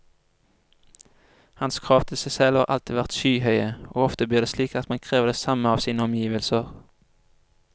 Hans krav til seg selv har alltid vært skyhøye, og ofte blir det slik at man krever det samme av sine omgivelser.